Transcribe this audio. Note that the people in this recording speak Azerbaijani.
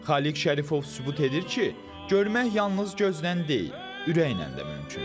Xaliq Şərifov sübut edir ki, görmək yalnız gözdən deyil, ürəklə də mümkündür.